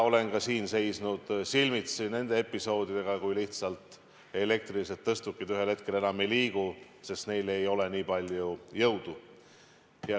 Olen ka siin seisnud silmitsi nende episoodidega, kui elektrilised tõstukid ühel hetkel lihtsalt enam ei liigu, sest neil ei ole nii palju jõudu.